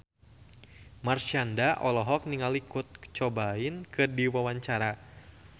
Marshanda olohok ningali Kurt Cobain keur diwawancara